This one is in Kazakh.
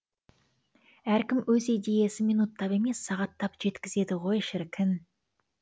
әркім өз идеясын минуттап емес сағаттап жеткізеді ғой шіркін